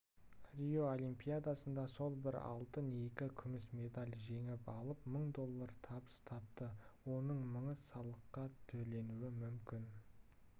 рио олимпиадасында ол бір алтын екі күміс медаль жеңіп алып мың доллар табыс тапты оның мыңы салыққа төленуі мүмкін